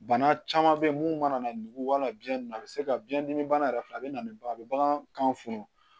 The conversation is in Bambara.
Bana caman bɛ yen mun mana nugu wala biyɛn a bɛ se ka biɲɛdimi bana yɛrɛ filɛ a bɛ na ni ba a bɛ bagan kan fɔlɔ